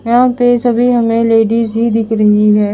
यहाँ पेसभी हमे लेडिज ही दिख रही है।